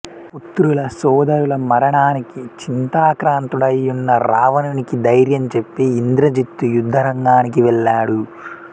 పుత్రుల సోదరుల మరణానికి చింతాక్రాంతుడై యున్న రావణునికి ధైర్యం చెప్పి ఇంద్రజిత్తు యుద్ధరంగానికి వెళ్ళాడు